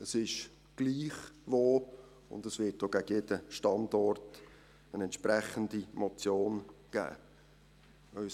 es ist egal wo; und es wird auch gegen jeden Standort eine entsprechende Motion geben.